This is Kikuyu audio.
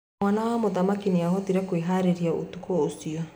Mwana wa mũthamaki nĩahotire kwĩharĩria ũtukũ ũcio.